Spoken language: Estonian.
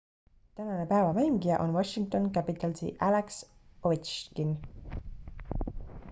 tänane päeva mängija on washington capitalsi alex ovechkin